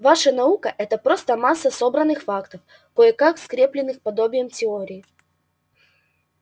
ваша наука это просто масса собранных фактов кое-как скреплённых подобием теории